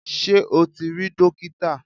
Sé o ti rí dókítà